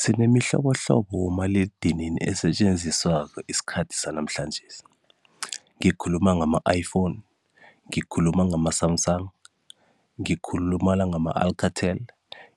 Sinemuhlobohlobo yabomaliledinini esetjenziswako esikhathini sanamhlanjesi, ngikhuluma ngama-iphone, ngikhuluma ngama-Sumsang, ngikhuluma nangama-Alcatel,